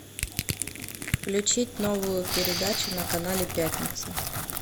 включить новую передачу на канале пятница